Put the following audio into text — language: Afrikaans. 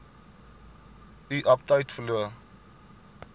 u aptyt verloor